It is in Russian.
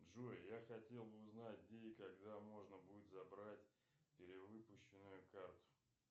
джой я хотел бы узнать где и когда можно будет забрать перевыпущенную карту